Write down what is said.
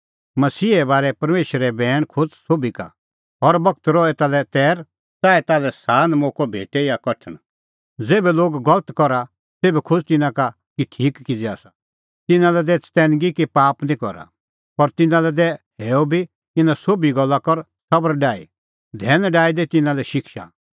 मसीहे बारै परमेशरो बैण खोज़ सोभी का हर बगत रह एता लै तैर च़ाऐ ताल्है सान मोक्कअ भेटे या कठण ज़ेभै लोग गलत करा तेभै खोज़ तिन्नां का कि ठीक किज़ै आसा तिन्नां लै दै चतैनगी कि पाप निं करा पर तिन्नां लै दै हैअ बी इना सोभी गल्ला कर सबर डाही धैन डाही दै तिन्नां लै शिक्षा